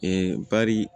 Ee bari